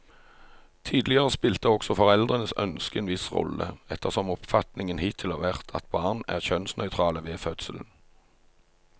Tidligere spilte også foreldrenes ønske en viss rolle, ettersom oppfatningen hittil har vært at barn er kjønnsnøytrale ved fødselen.